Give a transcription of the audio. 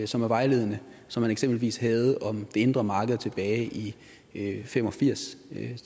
som er vejledende som man eksempelvis havde om det indre marked tilbage i nitten fem og firs